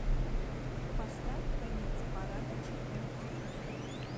поставь конец парада четыре кей